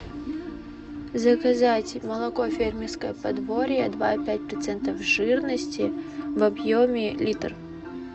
заказать молоко фермерское подворье два и пять процентов жирности в объеме литр